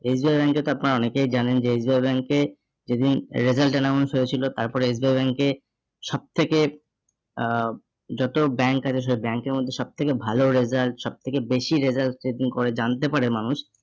SBI bank এর তো আপনারা অনেকেই জানেন যে SBI bank এ সেদিন result announce হয়েছিল তারপরে SBI bank এ সবথেকে আহ bank আছে সব bank এর মধ্যে সব থেকে ভালো result সব থেকে বেশি result করে জানতে পারে মানুষ